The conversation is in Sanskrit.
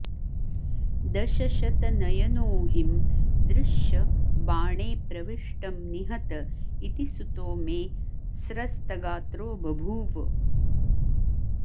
दशशतनयनोऽहिं दृश्य बाणे प्रविष्टं निहत इति सुतो मे स्रस्तगात्रो बभूव